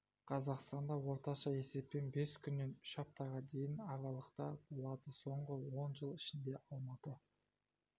қазақстанда орташа есеппен бес күннен үш аптаға дейінгі аралықта болады соңғы он жыл ішінде алматы